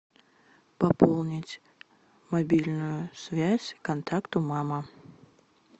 пополнить мобильную связь контакту мама